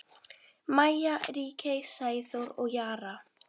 Maja, Ríkey, Sæþór og Jara.